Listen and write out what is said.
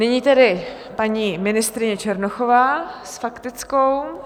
Nyní tedy paní ministryně Černochová s faktickou.